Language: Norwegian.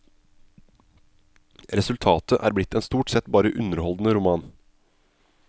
Resultatet er blitt en stort sett bare underholdende roman.